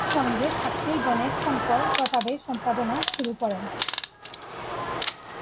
সঙ্গে ছাত্রীগণের সম্পর্ক তা বেশ সম্পাদনা শুরু করেন